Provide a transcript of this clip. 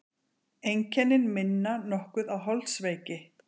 Einkennin minna nokkuð á holdsveiki.